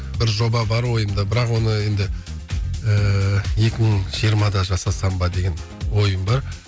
бір жоба бар ойымда бірақ оны енді ыыы екі мың жиырмада жасасам ба деген ойым бар